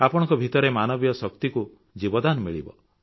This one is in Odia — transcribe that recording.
ଆପଣଙ୍କ ଭିତରେ ମାନବୀୟ ଶକ୍ତିକୁ ଜୀବଦାନ ମିଳିବ